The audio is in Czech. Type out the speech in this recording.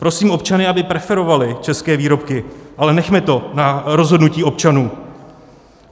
Prosím občany, aby preferovali české výrobky, ale nechme to na rozhodnutí občanů.